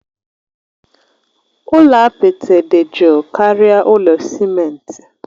Ụlọ apịtị dị jụụ karịa ụlọ simenti.